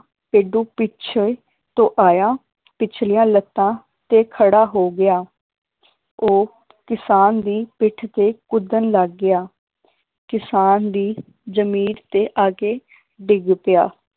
ਭੇਡੂ ਪਿਛੇ ਤੋਂ ਆਇਆ ਪਿਛਲੀਆਂ ਲੱਤਾਂ ਤੇ ਖੜਾ ਹੋ ਗਿਆ ਉਹ ਕਿਸਾਨ ਦੀ ਪਿੱਠ ਤੇ ਕੁੱਦਣ ਲੱਗ ਗਿਆ ਕਿਸਾਨ ਦੀ ਜਮੀਰ ਤੇ ਆਕੇ ਡਿੱਗ ਪਿਆ